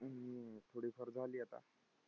थोडीफार झाली आता.